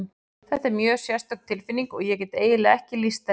Þetta er mjög sérstök tilfinning og ég get eiginlega ekki lýst henni.